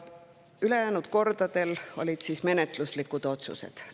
Ülejäänud kordadel menetluslikud otsused.